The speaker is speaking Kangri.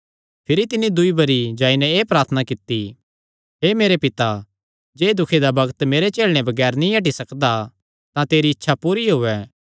भिरी तिन्नी दूई बरी जाई नैं एह़ प्रार्थना कित्ती हे मेरे पिता जे एह़ दुखे दा बग्त मेरे झेलणे बगैर नीं हटी सकदा तां तेरी इच्छा पूरी होयैं